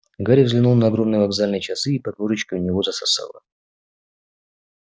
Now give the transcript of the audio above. гарри взглянул на огромные вокзальные часы и под ложечкой у него засосало